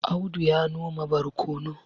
Audu ya noma barkono